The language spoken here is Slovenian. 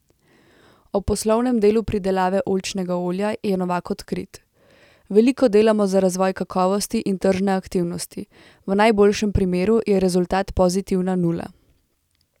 O poslovnem delu pridelave oljčnega olja je Novak odkrit: 'Veliko delamo za razvoj kakovosti in tržne aktivnosti, v najboljšem primeru je rezultat pozitivna nula.